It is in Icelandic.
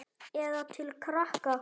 Eða til krakka?